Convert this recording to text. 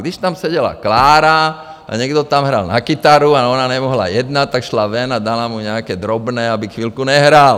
Když tam seděla Klára a někdo tam hrál na kytaru a ona nemohla jednat, tak šla ven a dala mu nějaké drobné, aby chvilku nehrál.